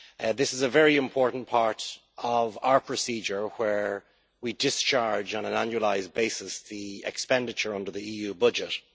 This is a very important part of our procedure where we discharge on an annualised basis the expenditure under the EU budget.